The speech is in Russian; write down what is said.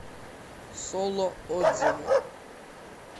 соло отзывы